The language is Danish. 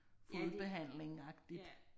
Fodbehandlingagtigt